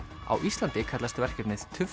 á Íslandi kallast verkefnið